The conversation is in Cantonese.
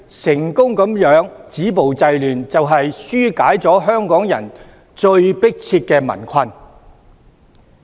成功止暴制亂，就是紓解了香港人最迫切的民困。